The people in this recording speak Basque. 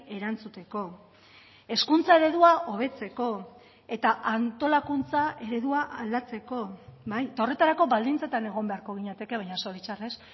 erantzuteko hezkuntza eredua hobetzeko eta antolakuntza eredua aldatzeko horretarako baldintzetan egon beharko ginateke baina zoritxarrez